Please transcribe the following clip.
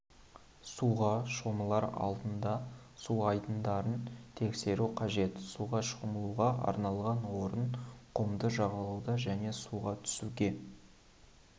суға шомылар алдында су айдындарын тексеру қажет суға шомылуға арналған орын құмды жағалауда және суға түсуге